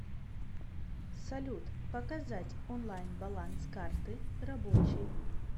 салют показать онлайн баланс карты рабочей